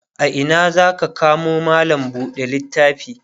a Ina zaka kamo mallam buɗe littafi?